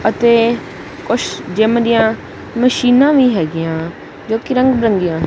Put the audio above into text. ਅਤੇ ਕੁੱਛ ਜਿੱਮ ਦੀਆਂ ਮਸ਼ੀਨਾਂ ਵੀ ਹੈਗੀਆਂ ਜੋਕੀ ਰੰਗ ਬਿਰੰਗੀਆਂ--